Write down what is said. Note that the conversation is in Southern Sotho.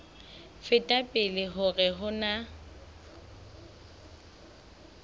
feta pele hore ho na